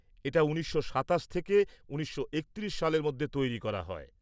এটা ১৯২৭ থেকে ১৯৩১ সালের মধ্যে তৈরি করা হয়।